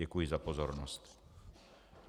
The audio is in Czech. Děkuji za pozornost.